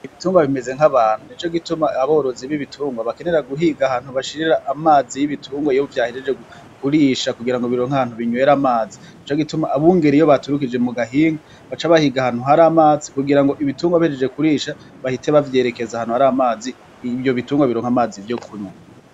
Ibitungwa bimez nkabantu nico gituma aborozi bibitungwa bakenera guhiga ahantu bashirira amazi yibitungwa iyo vyahejeje kurisha kugirango bironke ahantu binywera amazi, nico gituma abungeri iyo baturukije mu gahinga baca bahiga ahantu hari amazi kugirango ibitungwa bihejeje kurisha bahite bavyerekeza ahantu hari amazi ivyo bitungwa bironke amazi yo kunywa.